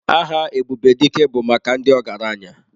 Aha Ebubedike bụ maka ndị ọgaranya.